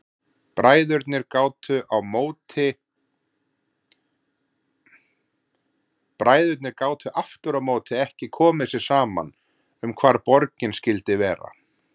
Bræðurnir gátu aftur á móti ekki komið sér saman um hvar borgin skyldi vera.